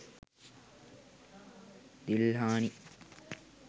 dilhani